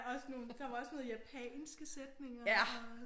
Også nogle der var også noget japanske sætninger og